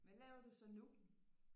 Hvad laver du så nu